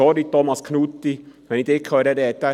Sorry, Thomas Knutti, wenn ich Sie sprechen höre: